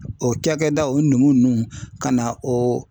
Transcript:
O cakɛda o numu ninnu ka na o.